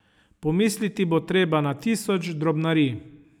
Pomisliti bo treba na tisoč drobnarij.